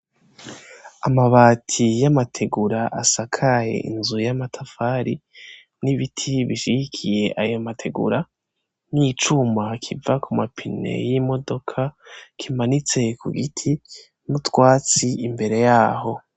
Amabati y'amategura asakaye inzu y'amatafali n'ibiti bishigikiye ayo mategura n'icuma kiva ku mapine y'imodoka kimanitse ku giti n'utwatsi imbere yaho.